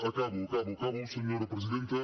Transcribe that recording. acabo acabo acabo senyora presidenta